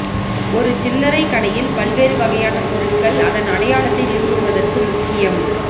ஒரு சில்லறை கடையில் பல்வேறு வகையான பொருட்கள் அதன் அடையாளத்தை நிறுவுவதற்கு முக்கியம்